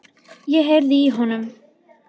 Ég heyrði í honum!